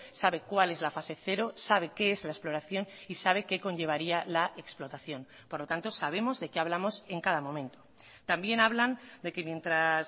sabe cuál es la fase cero sabe qué es la exploración y sabe qué conllevaría la explotación por lo tanto sabemos de qué hablamos en cada momento también hablan de que mientras